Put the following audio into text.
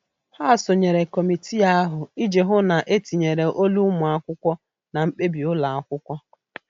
Ha sonyere kọmitii ahụ iji hụ na etinyere olu ụmụ akwụkwọ na mkpebi ụlọ akwụkwọ.